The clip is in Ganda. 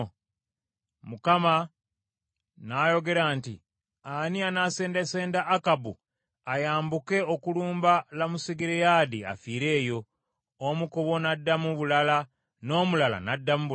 Mukama n’ayogera nti, ‘Ani anaasendasenda Akabu ayambuke okulumba Lamosugireyaadi afiire eyo?’ Omu ku bo n’addamu bulala, n’omulala n’addamu bulala.